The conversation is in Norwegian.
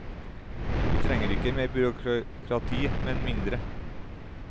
Vi trenger ikke mer byråkrati, men mindre.